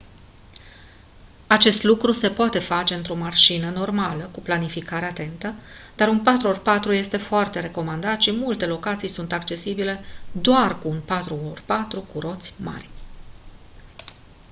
acest lucru se poate face într-o mașină normală cu o planificare atentă dar un 4x4 este foarte recomandat și multe locații sunt accesibile doar cu un 4x4 cu roți mari